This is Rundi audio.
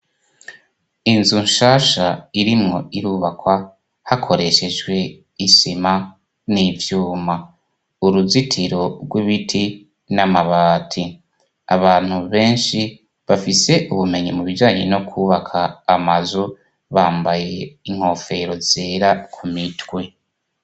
Inzu nshasha irimwo irubakwa hakoreshejwe isima n'ivyuma. Uruzitiro rw'ibiti n'amabati. Abantu benshi bafise ubumenyi mu bijanye no kwubaka amazu, bambaye inkofero zera ku mitwe.